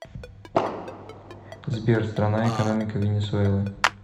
сбер страна экономика венесуэлы